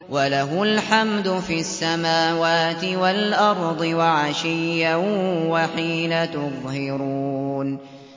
وَلَهُ الْحَمْدُ فِي السَّمَاوَاتِ وَالْأَرْضِ وَعَشِيًّا وَحِينَ تُظْهِرُونَ